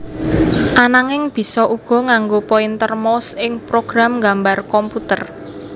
Ananging bisa uga nganggo pointer mouse ing program nggambar komputer